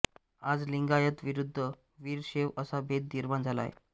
आज लिंगायत विरुद्ध वीरशैव असा भेद निर्माण झाला आहे